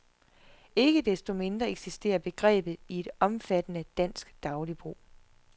Ikke desto mindre eksisterer begrebet i et omfattende dansk dagligbrug.